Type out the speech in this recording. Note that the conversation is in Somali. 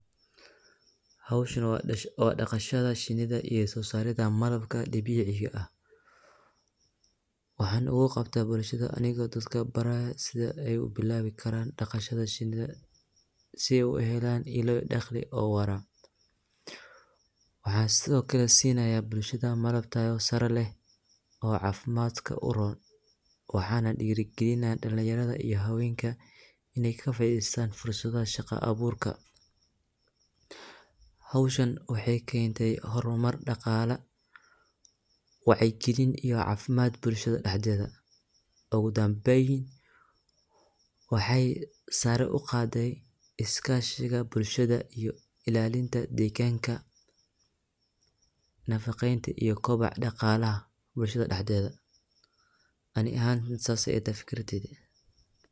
Howshani waa daqashada shinida iyo sosarida malabka, dabiciga ah waxan ugu qabta bulshada anigo dadka barayo siday ubilabi karan, daqashada shinida sii ay uhelan ialaa daqli ah oo wara, waxan sidiokale sinayah bulshada malab tayo sare leh oo cafimadka uron waxa nah dirigalinah dalinyarada iyo habenka inay kafaideysan fursada shaqa aburka, howshan waxay kente hormar daqala wacigalin iyo cafimad bulshada daxdedha ogu dambeyn waxay sare uqadey iskashiga bulshada iyo ilalinta deganka, nafaqeynta iyo kobaca daqalaha bulshada daxdeda ani ahan sas aya ilatahay fikirkeyga.